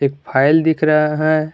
Foil दिख रहा है।